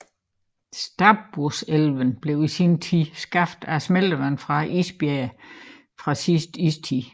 Stabburselven blev i sin tid skabt af smeltevand fra isbræer fra sidste istid